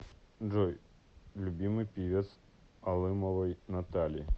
джой любимый певец алымовой натальи